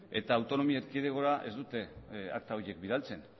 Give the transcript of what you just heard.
eta autonomi erkidegora ez dute akta horiek bidaltzen